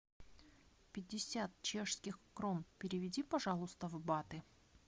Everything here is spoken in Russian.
пятьдесят чешских крон переведи пожалуйста в баты